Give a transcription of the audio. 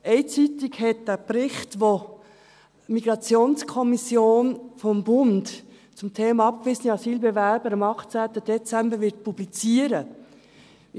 Eine Zeitung hat diesen Bericht, den die Migrationskommission des Bundes zum Thema abgewiesene Asylbewerber am 18. Dezember publizieren wird …